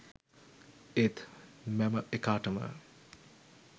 ඒත් මැම එකාටම